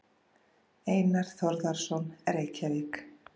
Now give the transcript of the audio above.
Einar Þórðarson, Reykjavík.